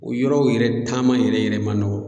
O yɔrɔw yɛrɛ taama yɛrɛ yɛrɛ ma nɔgɔn.